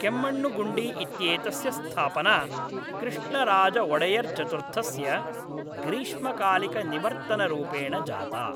केम्मण्णुगुण्डी इत्येतस्य स्थापना कृष्णराजवोडेयर्चतुर्थस्य ग्रीष्मकालिकनिवर्तनरूपेण जाता।